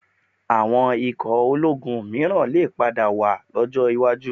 Àwọn ikò ológun mìíràn lè padà wà lọ́jọ́ iwájú